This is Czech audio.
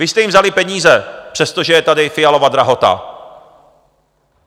Vy jste jim vzali peníze, přestože je tady Fialova drahota!